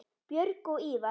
Björg og Ívar.